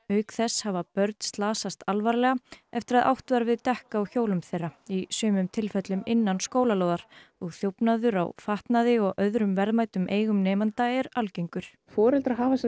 auk þess hafa börn slasast alvarlega eftir að átt var við dekk á hjólum þeirra í sumum tilfellum innan skólalóðar og þjófnaður á fatnaði og öðrum verðmætum eigum nemenda er algengur foreldrar hafa